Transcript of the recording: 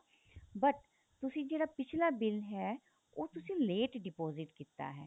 but ਤੁਸੀਂ ਜਿਹੜਾ ਪਿੱਛਲਾ bill ਹੈ ਉਹ ਤੁਸੀਂ late deposit ਕੀਤਾ ਹੈ